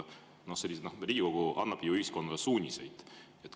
Riigikogu annab ühiskonnale suuniseid.